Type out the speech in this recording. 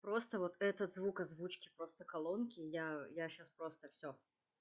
просто вот этот звук озвучки просто колонки я я сейчас просто всё